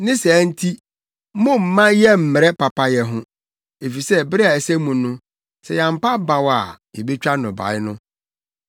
Ne saa nti, mommma yɛmmmrɛ papayɛ ho, efisɛ bere a ɛsɛ mu no, sɛ yɛampa abaw a yebetwa nnɔbae no.